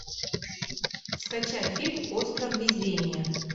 скачай фильм остров везения